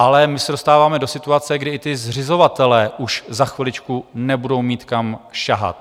Ale my se dostáváme do situace, kdy i ti zřizovatelé už za chviličku nebudou mít, kam sahat.